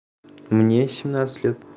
мне семнадцать лет